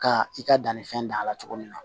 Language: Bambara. Ka i ka dannifɛn dan a la cogo min na